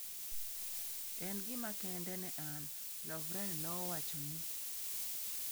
"En gima kende ne an,"" Lovren nowacho ni."